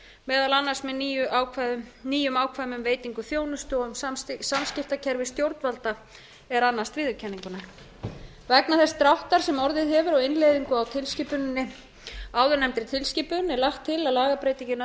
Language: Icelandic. meðal annars með nýjum ákvæðum um veitingu þjónustu og um samskiptakerfi stjórnvalda er annast viðurkenninguna vegna þess dráttar sem orðið hefur á innleiðingu á áðurnefndri tilskipun er lagt til að lagabreytingin